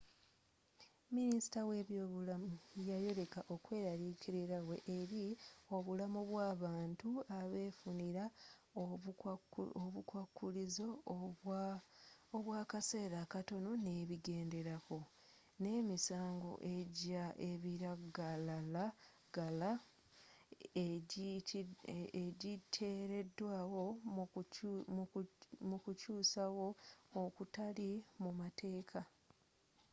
minisita wa eby'obulamu yayoleka okw-eraliikirirawe eri obulamu bw'abantu abefunira obukwakulizo obwa akaseera akatono n'ebigenderako n'emisango egya ebiragalalagala egyiteeredwawo mu kukyusawo okutali mu mateeka